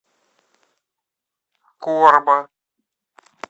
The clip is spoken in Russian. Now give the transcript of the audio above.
корба